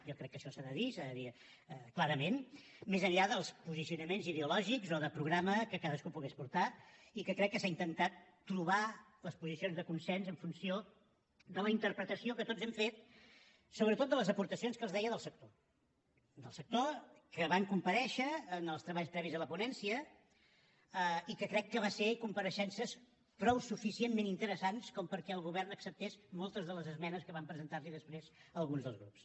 jo crec que això s’ha de dir s’ha de dir clarament més enllà dels posicionaments ideològics o de programa que cadascú pogués portar i que crec que s’ha intentat trobar les posicions de consens en funció de la interpretació que tots hem fet sobretot de les aportacions que els deia del sector del sector que van comparèixer en els treballs previs a la ponència i que crec que van ser compareixences prou suficientment interessants com perquè el govern acceptés moltes de les esmenes que van presentar li després alguns dels grups